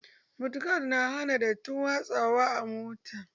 Mod gad na hana datti watsu wa a mota